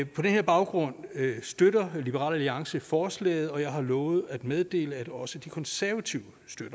på den her baggrund støtter liberal alliance forslaget og jeg har lovet at meddele at også de konservative